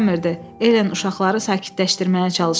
Elen uşaqları sakitləşdirməyə çalışırdı.